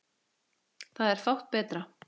Það er fátt betra.